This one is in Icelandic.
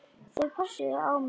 Þau pössuðu á mig.